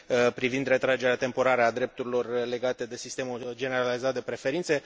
privind retragerea temporară a drepturilor legate de sistemul generalizat de preferințe.